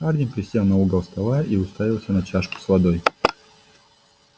хардин присел на угол стола и уставился на чашку с водой